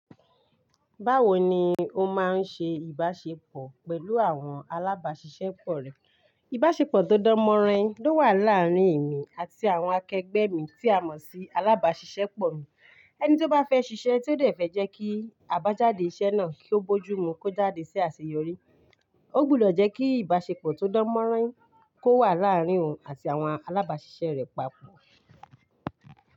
Báwo ni ó máa ń ṣe ìbáṣepọ̀ pẹ̀lú àwọn alábáṣiṣẹ́ pọ̀ rẹ̀? Ìbáṣepọ̀ tó dán mọ́rán ló wà láàárín èmi àti àwọn akẹgbẹ́ mi tí a mọ̀ sí alábáṣiṣẹ́ pọ̀ mi. Ẹni tí ó bá fẹ́ ṣiṣẹ́ tí ó sì fẹ́ jẹ́ kí àbájáde iṣẹ́ náà kí ó bójúmu kí ó jáde sí àṣeyọrí, ó gbúdọ̀ jẹ́ kí ìbáṣepọ̀ tó dán mọ́rán kó wà láàárín òun àti àwọn alábáṣiṣẹ́ rẹ̀ papọ̀